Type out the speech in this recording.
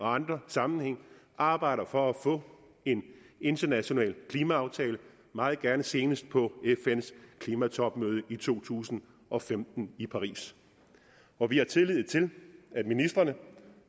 andre sammenhænge arbejder for at få en international klimaaftale meget gerne senest på fns klimatopmøde i to tusind og femten i paris og vi har tillid til at ministrene